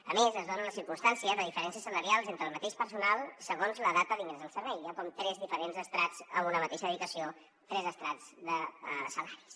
a més es dona la circumstància de diferències salarials entre el mateix personal segons la data d’ingrés al servei hi ha com tres diferents estrats en una mateixa dedicació tres estrats de salaris